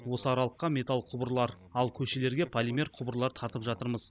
осы аралыққа металл құбырлар ал көшелерге полимер құбырлар тартып жатырмыз